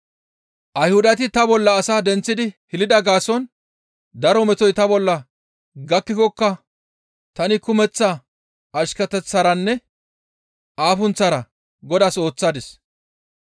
Ayhudati ta bolla asaa denththidi hilida gaason daro metoy ta bolla gakkikokka tani kumeththa ashketeththaranne afunththara Godaas ooththadis.